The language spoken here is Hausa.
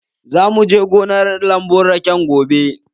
Za mu je gonar lambun rake gobe.